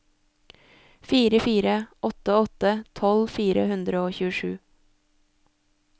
fire fire åtte åtte tolv fire hundre og tjuesju